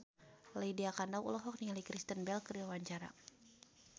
Lydia Kandou olohok ningali Kristen Bell keur diwawancara